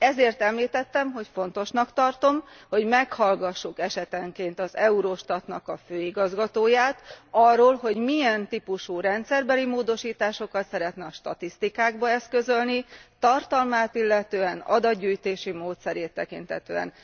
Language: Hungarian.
Ezért említettem, hogy fontosnak tartom, hogy meghallgassuk esetenként az Eurostat főigazgatóját arról, hogy milyen típusú rendszerbeli módosításokat szeretne a statisztikákban eszközölni, tartalmát illetően, adatgyűjtési módszerét illetően.